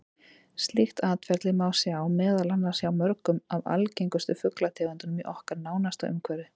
Slíkt atferli má sjá meðal annars hjá mörgum af algengustu fuglategundunum í okkar nánasta umhverfi.